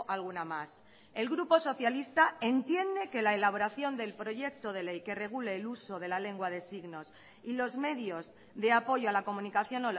alguna más el grupo socialista entiende que la elaboración del proyecto de ley que regule el uso de la lengua de signos y los medios de apoyo a la comunicación